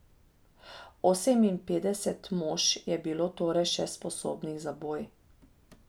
Oseminpetdeset mož je bilo torej še sposobnih za boj.